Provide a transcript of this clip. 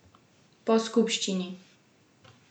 Po skupščini?